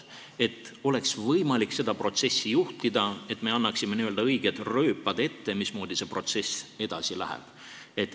Siis oleks võimalik seda protsessi juhtida, me annaksime n-ö õiged rööpad ette, mismoodi see protsess edasi läheb.